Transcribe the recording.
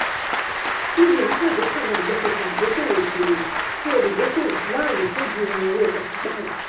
cbn ṣàgbékalẹ̀ àjọṣepọ̀ ìdókòwò òkèèrè fún olùdókòwò láàyè ṣòdiwọ̀n owó pàsípààrọ̀.